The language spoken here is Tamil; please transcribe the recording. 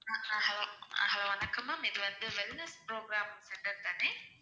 hello வணக்கம் ma'am இது wellness program center தானே